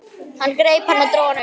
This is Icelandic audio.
Hann greip hann og dró hann upp.